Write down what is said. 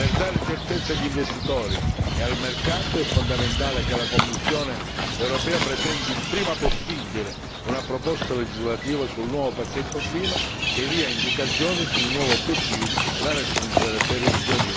Per dare certezza agli investitori e al mercato è fondamentale che la Commissione europea presenti il prima possibile una proposta legislativa sul nuovo pacchetto clima che dia indicazioni sui nuovi obiettivi da raggiungere per il